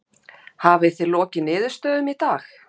Kristján: Hafið þið lokið niðurstöðum í dag?